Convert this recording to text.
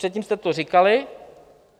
Předtím jste to říkali.